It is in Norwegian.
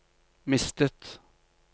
mistet